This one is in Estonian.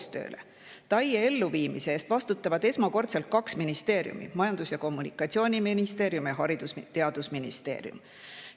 TAIE elluviimise eest vastutavad esmakordselt kaks ministeeriumi: Majandus- ja Kommunikatsiooniministeerium ning Haridus- ja Teadusministeerium.